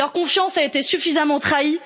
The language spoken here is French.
Leur confiance a été suffisamment trahie.